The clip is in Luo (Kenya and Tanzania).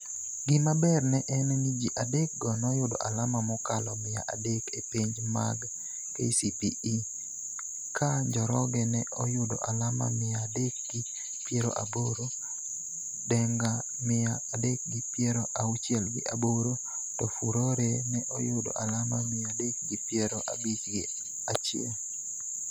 Gima ber en ni ji adekgo noyudo alama mokalo mia adek e penj mag KCPE ka Njoroge ne oyudo alama mia adek gi piero aboro, Denga mia adek gi piero auchiel gi aboro to Furore ne oyudo alama mia adek gi piero abich gi achiel.